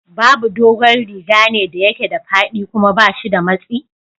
Bubu dogon rigane da yake da faɗi kuma bashi da matsi.